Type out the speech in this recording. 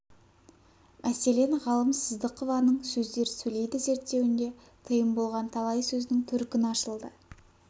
мәселен ғалым сыздықованың сөздер сөйлейді зерттеуінде тиым болған талай сөздің төркіні ашылды